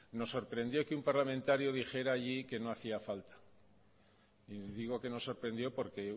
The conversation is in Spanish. nos sorprendió que un parlamentario dijera allí que no hacía falta y digo que nos sorprendió porque